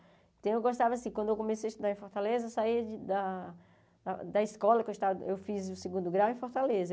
Então, eu gostava, assim, quando eu comecei a estudar em Fortaleza, eu saía de da da escola que eu esta eu fiz o segundo grau em Fortaleza.